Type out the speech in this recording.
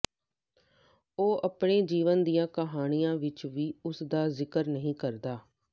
ਉਹ ਆਪਣੇ ਜੀਵਨ ਦੀਆਂ ਆਪਣੀਆਂ ਕਹਾਣੀਆਂ ਵਿਚ ਵੀ ਉਸ ਦਾ ਜ਼ਿਕਰ ਨਹੀਂ ਕਰਦਾ